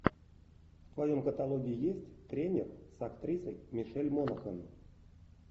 в твоем каталоге есть тренер с актрисой мишель монахэн